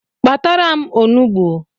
Kpatara m onugbu